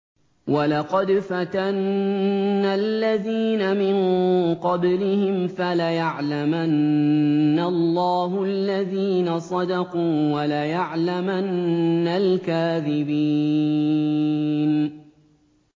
وَلَقَدْ فَتَنَّا الَّذِينَ مِن قَبْلِهِمْ ۖ فَلَيَعْلَمَنَّ اللَّهُ الَّذِينَ صَدَقُوا وَلَيَعْلَمَنَّ الْكَاذِبِينَ